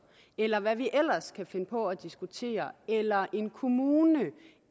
eller hvad vi ellers kan finde på at diskutere eller en kommune